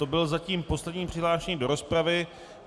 To byl zatím poslední přihlášený do rozpravy.